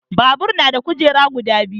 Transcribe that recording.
Babur na da kujeru guda biyu